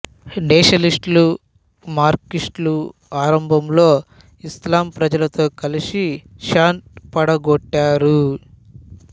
నేషనలిస్టులు మార్కిస్టులు ఆరంభంలో ఇస్లాం ప్రజలతో కలిసి షాను పడగొట్టారు